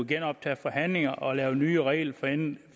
genoptage forhandlingerne og lave nye regelforenklinger